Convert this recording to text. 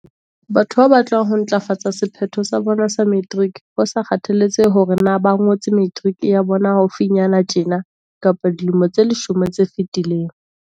Batho ba batlang ho ntlafatsa sephetho sa bona sa materiki, ho sa kgathaletsehe hore na ba ngotse materiki ya bona haufinyana tjena kapa dilemo tse leshome tse fetileng.